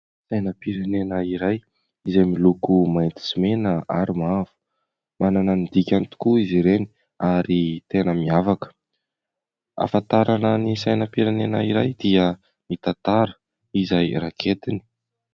Sainam-pirenena iray izay miloko mainty sy mena ary mavo, manana ny dikany tokoa izy ireny ary tena miavaka, ahafantarana ny sainam-pirenena iray dia ny tantara izay raketiny.